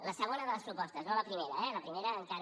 la segona de les propostes no la primera eh la primera encara